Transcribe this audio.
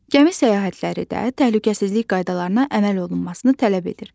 Gəmi səyahətləri də təhlükəsizlik qaydalarına əməl olunmasını tələb edir.